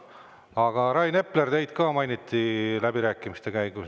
Aga Rain Epler, teid ka mainiti läbirääkimiste käigus.